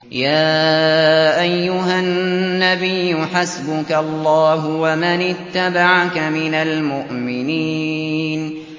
يَا أَيُّهَا النَّبِيُّ حَسْبُكَ اللَّهُ وَمَنِ اتَّبَعَكَ مِنَ الْمُؤْمِنِينَ